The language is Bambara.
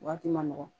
Waati ma nɔgɔ